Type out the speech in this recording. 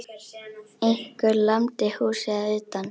Einhver lamdi húsið að utan.